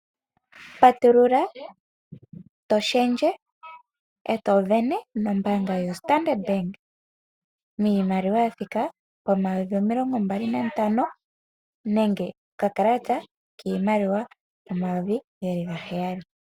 Patulula, to shendje, e to sindana nombaanga yoStandard, iimaliwa ya thika pomayovi omilongo mbali nantano, nenge okakalata kiimaliwa omayovi gaheyali.